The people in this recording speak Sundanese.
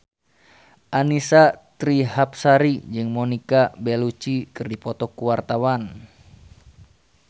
Annisa Trihapsari jeung Monica Belluci keur dipoto ku wartawan